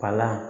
Palan